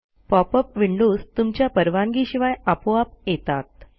pop up windows तुमच्या परवानगीशिवाय आपोआप येतात